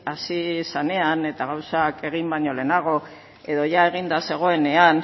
hasi zanean eta gauzak egin baino lehenago edo ia eginda zegoenean